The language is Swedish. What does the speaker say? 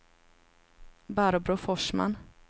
Barbro Forsman